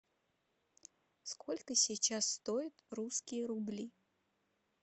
сколько сейчас стоят русские рубли